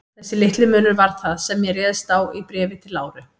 Þessi litli munur var það, sem ég réðst á í Bréfi til Láru.